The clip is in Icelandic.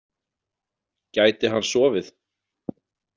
Gæti hann sofið?